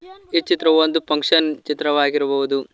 ಈ ಚಿತ್ರವು ಒಂದು ಫಂಕ್ಷನ್ ಚಿತ್ರವಾಗಿರಬಹುದು.